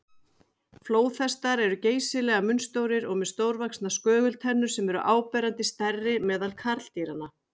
Flóðhestar eru geysilega munnstórir og með stórvaxnar skögultennur sem eru áberandi stærri meðal karldýranna.